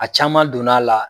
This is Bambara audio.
A caman donn'a la